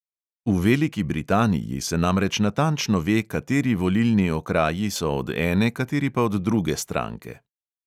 V veliki britaniji se namreč natančno ve, kateri volilni okraji so od ene, kateri pa od druge stranke.